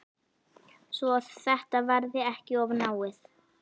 Svo þetta verði ekki of náið.